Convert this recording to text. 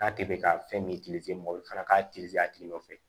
K'a kɛ ka fɛn min mɔgɔ fana k'a a tigi nɔfɛ